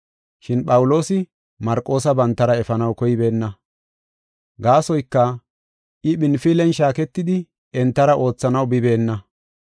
Shin Phawuloosi Marqoosa bantara efanaw koybeenna. Gaasoyka, I Phinfilen shaaketidi entara oothanaw bibeenna.